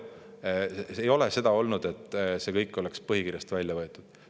Ei ole seda kõike põhikirjast välja võetud.